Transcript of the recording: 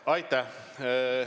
Aitäh!